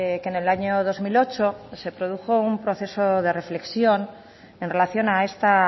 que en el año dos mil ocho se produjo un proceso de reflexión en relación a esta